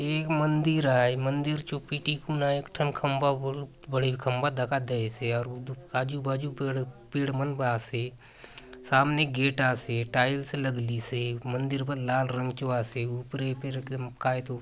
ये एक मंदिर आय मंदिर चो पीटी कुना एक ठन खंबा बहुत बड़े खंबा दखा देयसे आउर आजु-बाजु पेड़ पेड़ मन बले आसे सामने गेट आसे टाइल्स लगलीसे मंदिर बले लाल रंग चो आसे ऊपरे फेर कायतो --